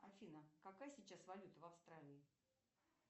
афина какая сейчас валюта в австралии